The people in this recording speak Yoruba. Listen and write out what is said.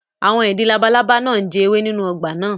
Àwọn ìdin labalábá náà ń jẹ ewé nínú ọgbà náà